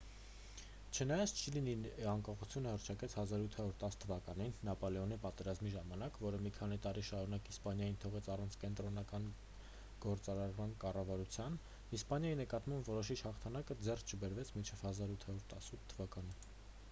չնայած չիլին իր անկախությունը հռչակեց 1810 թվականին նապոլեոնի պատերազմների ժամանակ որը մի քանի տարի շարունակ իսպանիան թողեց առանց կենտրոնական գործառնական կառավարության իսպանիայի նկատմամբ որոշիչ հաղթանակը ձեռք չբերվեց մինչև 1818 թվականը։